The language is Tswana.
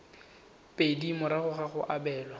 pedi morago ga go abelwa